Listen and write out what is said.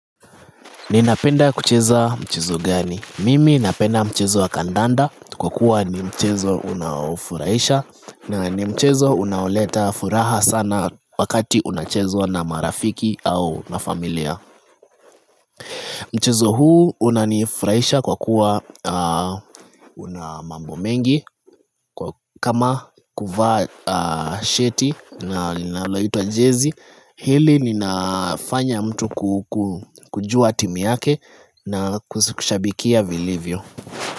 Ninapenda kucheza mchezo gani? Mimi napenda mchezo wa kandanda kwa kuwa ni mchezo unaofurahisha na ni mchezo unaoleta furaha sana wakati unachezwa na marafiki au na familia. Mchezo huu unanifurahisha kwa kuwa una mambo mengi. Kama kuvaa sheti na linaloitwa jezi, Hili linafanya mtu kujua timu yake na kushabikia vilivyo.